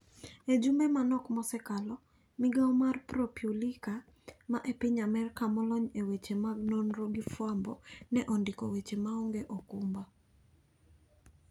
Ejumbe manok mosekalo ,migao mar Propulica ma epiny amerka molony eweche mag nonro gi fwambo ne ondiko weche maonge okumba.